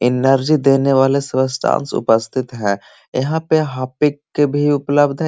Energy देने वाले उपस्थित है यहां पे हार्पिक के भी उपलब्ध हैं।